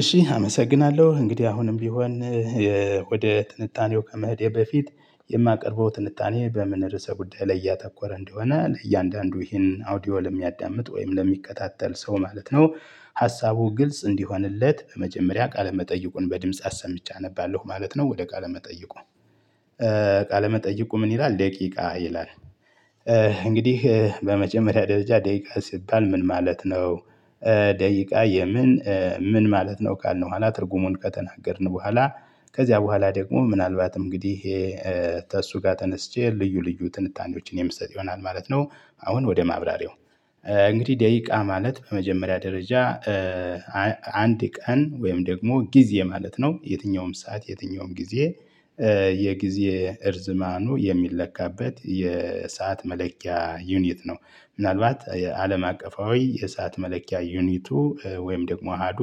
እሺ አመሰግናለሁ እንግዲህ አሁንም ቢሆን ወደ ትንታኔው ከመኸዴ በፊት የማቀርበው ትንታኔ በምን ርዕሰ ጉዳይ ላይ ያተኮረ እንደሆነ ለእያንዳንዱ ይሄንን አውዲዮ ለሚያዳምጥ ወይም ለሚከታተል ሰው ማለት ነው ሀሳቡ ግልጽ እንዲሆንለት በመጀመሪያ ቃለ መጠይቁን በድምጽ አሰምቼ አነባለሁ ማለት ነው ወደ ቃለ መጠየቁ ቃለ መጠየቁ ምን ይላል ደቂቃ ይላል እንግዲህ በመጀመሪያ ደረጃ ደቂቃ ሲባል ምን ማለት ነው? ደቂቃ የምን ምን ማለት ነው ካልነው በኋላ ትርጉሙን ከተናገርን በኋላ ከዚያ በኋላ ደግሞ ምናልባት እንግዲህ ከእሱ ጋር ተነስቼ ልዩ ልዩ ትንታኔዎችን የምሰጥ ይሆናል ማለት ነው። አሁን ወደ ማብራሪው። እንግዲህ ደቂቃ ማለት በመጀመሪያ ደረጃ አንድ ቀን ወይም ደግሞ ጊዜ ማለት ነው። የትኛውም ሰዓት፤ የትኛውም ጊዜ የጊዜ እርዝማኑ የሚለካበት የሰዓት መለኪያ ዩኒት ነው። ምናልባት የአለም አቀፋዊ ሰዓት መለኪያ ዩኒቱ ወይም ደግሞ አሀዱ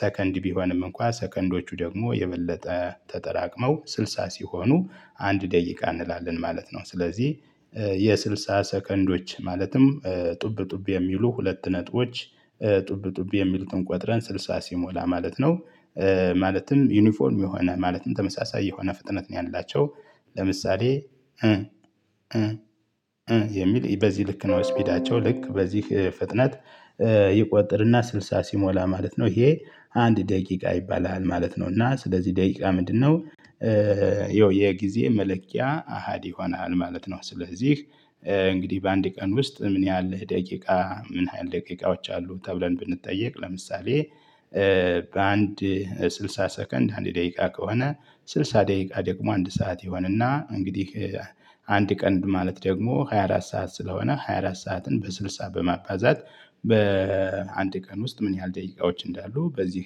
ሰከንድ ቢሆንም እንኳን ሰከንዶቹ ደግሞ የበለጠ ተጠራቅመው ስልሳ ሲሆኑ አንድ ደቂቃ እንላለን ማለት ነው። ስለዚህ የስልሳ ሰከንዶች ማለትም ጡብ ጡብ የሚሉ ሁለት ነጥቦች ጡብ ጡብ የሚሉትን ቆጥረን ስልሳ ሲሞላ ማለት ነው ማለትም ዩኒፎርም የሆነ፤ ማለትም ተመሳሳይ የሆነ ፍጥነት ነው ያላቸው ለምሳሌ የሚል በዚህ ልክ ነው ስፒዳቸው ልክ በዚህ ፍጥነት ይቆጥርና ስልሳ ሲሞላ ማለት ነው። ይሄ አንድ ደቂቃ ይባላል ማለት ነው። እና ስለዚህ ደቂቃ ምንድነው? ይኸው የጊዜ መለኪያ አሃዲ ይሆናል ማለት ነው። ስለዚህ እንግዲህ በአንድ ቀን ውስጥ ምን ያህል ደቂቃ። ምን ያህል ደቂቃዎች አሉ ተብለን ብንጠየቅ ለምሳሌ በአንድ ስልሳ ሰከንድ አንድ ደቂቃ ከሆነ ስልሳ ደቂቃ ደግሞ አንድ ሰዓት ይሆንና እንግዲህ አንድ ቀን ማለት ደግሞ ሃያ አራት ሰዓት ስለሆነ ሃያ አራት ሰዓትን በስልሳ በማባዛት በአንድ ቀን ውስጥ ምን ያህል ደቂቃዎች እንዳሉ በዚህ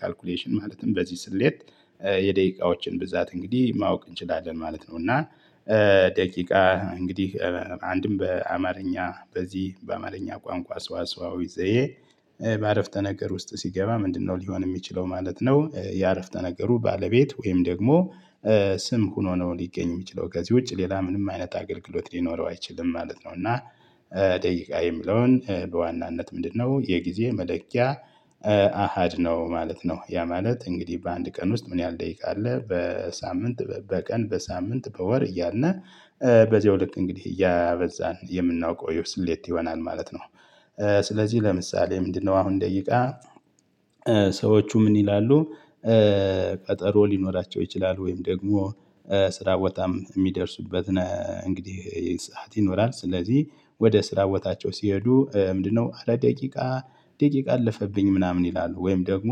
ካልኩሌሽን ማለትም በዚህ ስሌት የደቂቃዎችን ብዛት እንግዲህ ማወቅ እንችላለን ማለት ነው። እና ደቂቃ እንግዲህ አንድም በአማርኛ በዚህ በአማርኛ ቋንቋ ሰው አስዋዊ ዘዬ በአረፍተ ነገር ውስጥ ሲገባ ምንድነው ሊሆን የሚችለው ማለት ነው የአረፍተ ነገሩ ባለቤት ወይም ደግሞ ስም ሆኖ ነው ሊገኝ የሚችለው። ከዚህ ውጪ ሌላ ምንም አይነት አገልግሎት ሊኖረው አይችልም ማለት ነው። እና ደቂቃ የሚለውን በዋናነት ምንድነው? የጊዜ መለኪያ አሃድ ነው ማለት ነው። ያ ማለት እንግዲህ በአንድ ቀን ውስጥ ምን ያህል ደቂቃ አለ? በሳምንት፣ በቀን፣ በሳምንት፣ በወር እያለልን በዚያው በዚህ ወርቅ እንግዲህ እያበዛን የምናውቀው ኢብስሌት ይሆናል ማለት ነው። ስለዚህ ለምሳሌ ምንድነው አሁን ደቂቃ? ሰዎቹ ምን ይላሉ ቀጠሮ ሊኖራቸው ይችላል ወይም ደግሞ ስራ በጣም የሚደርሱበት ነው እንግዲህ የሰዓት ይኖራል። ስለዚህ ወደ ስራ ቦታቸው ሲሄዱ ምንድነው? ኧረ ደቂቃ፤ ደቂቃ አለፈብኝ ምናምን ይላሉ። ወይም ደግሞ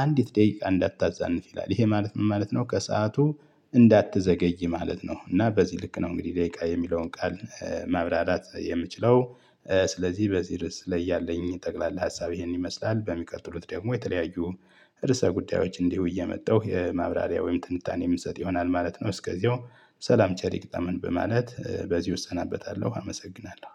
አንዲት ደቂቃ እንዳታዛንፍ ይላል። ይሄ ማለት ምን ማለት ነው? ከሰአቱ እንዳትዘገይ ማለት ነው። እና በዚህ ልክ ነው እንግዲህ ደቂቃ የሚለውን ቃል ማብራራት የምችለው። ስለዚህ በዚህ ርዕስ ላይ ያለኝ ጠቅላላ ሀሳብ ይሄን ይመስላል። በሚቀጥሉት ደግሞ የተለያዩ ርዕሰ ጉዳዮች እንዲሁ እየመጣሁ የማብራሪያ ወይም ትንታኔ የምትሰጥ ይሆናል ማለት ነው። እስከዚያው ሰላም ቸር ይግጠመን በማለት በዚህ ወሰናበታለሁ፣ አመሰግናለሁ።